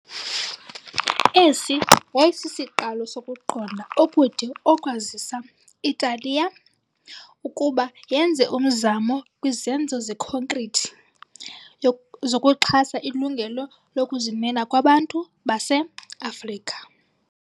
Esi yayisisiqalo sokuqonda okude okwazisa i-Italiya ukuba yenze umzamo kwizenzo zekhonkrithi zokuxhasa ilungelo lokuzimela kwabantu base-Afrika.